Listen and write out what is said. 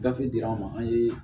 Gafe dira an ma an ye